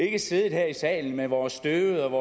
ikke siddet her i salen med vores støvede